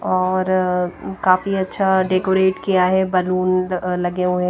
और काफी अच्छा डेकोरेट किया है बलून लगे हुए--